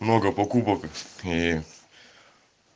много покупок и